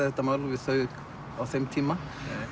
þetta mál við þau á þeim tíma